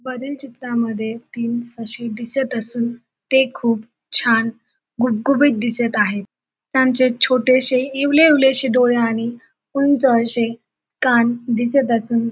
वरील चित्रामध्ये तीन ससे दिसत असून ते खूप छान गुबगुबीत दिसत आहेत त्यांचे छोटेसे इवले इवले से डोळे आणि उंच असे कान दिसत असून --